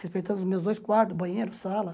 Respeitando os meus dois quartos, banheiro, sala.